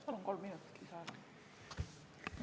Palun kolm minutit lisaaega!